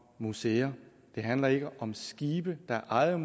museer det handler ikke om skibe der er ejet